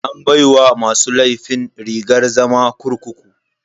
An baiwa masu laifin rigar zama kurkuku.